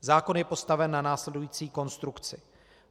Zákon je postaven na následující konstrukci.